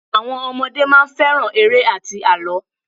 Àwọn ọmọdé máa ń fẹ́ràn eré àti àlọ́.